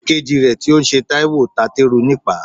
Ìkejì rẹ tí ó ń ṣe Taiwo ta teru nípaa.